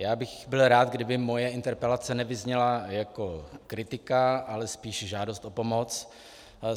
Já bych byl rád, kdyby moje interpelace nevyzněla jako kritika, ale spíše žádost o pomoc.